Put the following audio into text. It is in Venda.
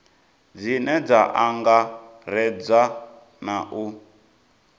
dzine dza angaredza na u